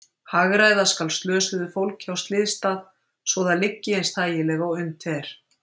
Hagræða skal slösuðu fólki á slysstað svo að það liggi eins þægilega og unnt er.